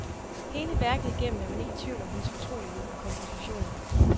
Hele værket igennem er man ikke i tvivl om hendes fortrolighed med kompositionen.